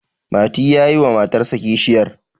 mati ya yi wa matarsa kishiyar